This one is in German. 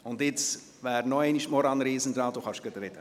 Nun wäre Maurane Riesen an der Reihe.